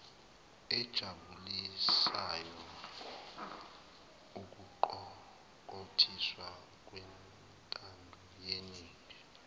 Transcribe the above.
ejabulisayo ukuqokothiswa kwentandoyeningi